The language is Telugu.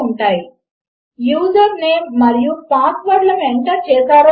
ఐఎఫ్ తే యూజర్నేమ్ ఎక్సిస్ట్స్ యూజర్నేమ్ కనుక ఒప్పు అయినట్లు అయితే